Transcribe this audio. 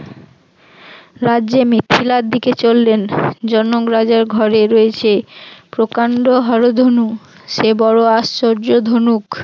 রাজ্যে মিথিলার দিকে চললেন, জনক রাজার ঘরে রয়েছে প্রকান্ড হর ধনু, সে বড় আশ্চর্য ধনুক